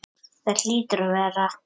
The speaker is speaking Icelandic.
Það hlýtur að vera.